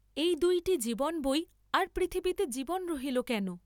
এই দুইটি জীবন বই আর পৃথিবীতে জীবন রহিল কেন?